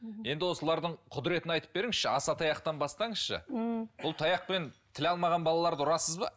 енді осылардың құдіретін айтып беріңізші асатаяқтан бастаңызшы м бұл таяқпен тіл алмаған балаларды ұрасыз ба